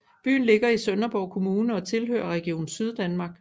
Byen ligger i Sønderborg Kommune og tilhører Region Syddanmark